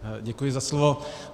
Děkuji za slovo.